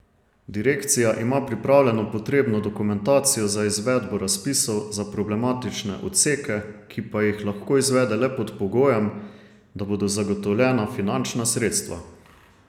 Direkcija ima pripravljeno potrebno dokumentacijo za izvedbo razpisov za problematične odseke, ki pa jih lahko izvede le pod pogojem, da bodo zagotovljena finančna sredstva.